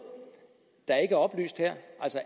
der ikke er oplyst her